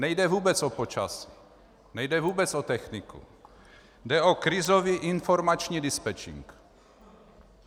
Nejde vůbec o počasí, nejde vůbec o techniku, jde o krizový informační dispečink.